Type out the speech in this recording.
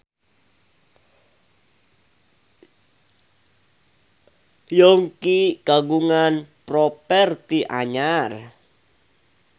Yongki kagungan properti anyar